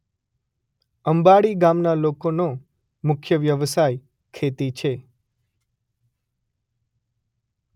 અંબાડી ગામના લોકોનો મુખ્ય વ્યવસાય ખેતી છે.